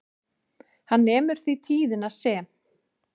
Hann nemur því tíðnina sem